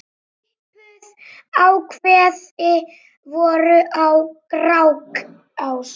Svipuð ákvæði voru í Grágás.